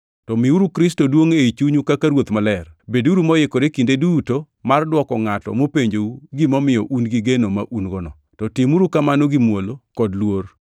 To miuru Kristo duongʼ ei chunyu kaka Ruoth Maler. Beduru moikore kinde duto mar dwoko ngʼato mopenjou gimomiyo un gi geno ma un-gono. To timuru kamano gi muolo kod luor.